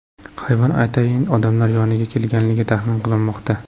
Hayvon atayin odamlar yoniga kelganligi taxmin qilinmoqda.